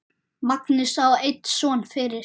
Magnús á einn son fyrir.